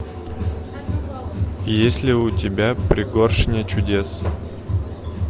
есть ли у тебя пригоршня чудес